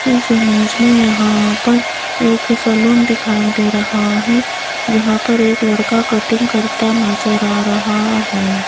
इस इमेज मे यहां पर एक सलून दिखाई दे रहा हैं जहां पर एक लड़का कटिंग करता नजर आ रहा हैं।